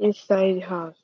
inside house